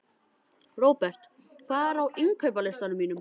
Robert, hvað er á innkaupalistanum mínum?